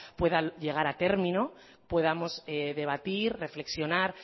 pueda llegar a término podamos debatir reflexionar